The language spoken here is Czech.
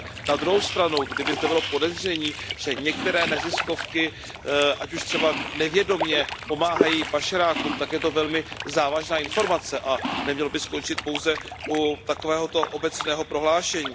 Na druhou stranu, kdyby zde bylo podezření, že některé neziskovky, ať už třeba nevědomě, pomáhají pašerákům, tak je to velmi závažná informace a nemělo by skončit pouze u takovéhoto obecného prohlášení.